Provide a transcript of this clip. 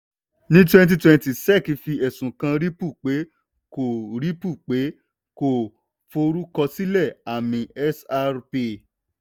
ní 2020 sec fi ẹ̀sùn kàn ripple pé kò ripple pé kò forúkọsílẹ̀ àmì xrp.